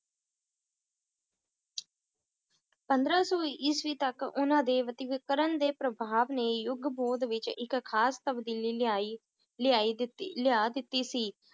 ਪੰਦਰਾਂ ਸੌ ਈਸਵੀ ਤੱਕ ਉਹਨਾਂ ਦੇ ਦੇ ਪ੍ਰਭਾਵ ਨੇ ਯੁਗ ਵਿਚ ਇਕ ਖਾਸ ਤਬਦੀਲੀ ਲਿਆਈ, ਲਿਆਈ ਦਿੱਤੀ ਲਿਆ ਦਿੱਤੀ ਸੀ